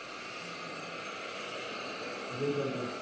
जिंकन trophy